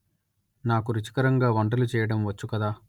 నాకు రుచికరంగా వంటలు చేయడం వచ్చు కదా